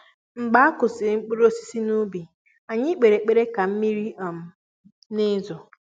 mgbe a kụsịrị mkpụrụ osisi n'ubi ,anyị kpere ekpere ka mmiri um n'ezo